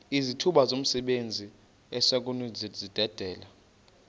izithuba zomsebenzi esinokuzidalela